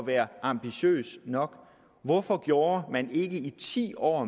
være ambitiøs nok hvorfor gjorde man ikke mere i ti år